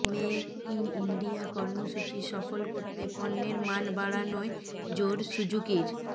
make in India কর্মসূচি সফল করতে পণ্যের মান বাড়ানোয় জোর সুজুকির